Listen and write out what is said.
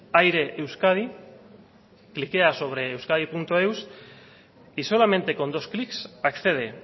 aire euskadi clickea sobre euskadieus y solamente con dos clicks accede